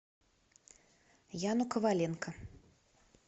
яну коваленко